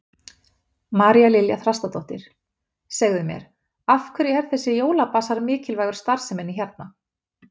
María Lilja Þrastardóttir: Segðu mér, af hverju er þessi jólabasar mikilvægur starfseminni hérna?